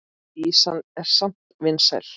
Ýsan er samt vinsæl.